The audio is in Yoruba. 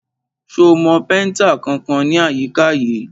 Ṣo mọ péntà kankan ní àyíká yìí?